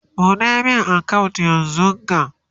ɓuɗe min account yanzunga!